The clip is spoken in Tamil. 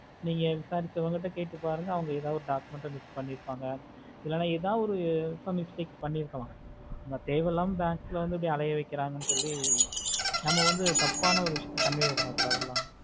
நீங்க விசாரிச்சா வாங்க கிட்ட கேட்டு பாருங்க அவங்க எதாவது document ஆஹ் பண்ணி இருப்பாங்க இல்லனா எத ஒரு எதுல mistake பண்ணி இருக்காளா தேவையில்லாம bank ல வந்து அலையை வெக்குறாங்க சொல்லி நம்ம ஒரு தப்பான விஷயத்துல convey பண்ண குடத்துல